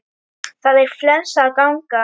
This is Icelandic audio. Það er flensa að ganga.